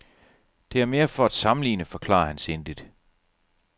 Det er mere for at sammenligne, forklarer han sindigt.